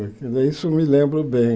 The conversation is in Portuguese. Isso me lembro bem.